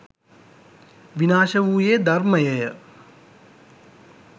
විනාශ වූයේ ධර්මයය.